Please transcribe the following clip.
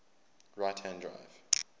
right hand drive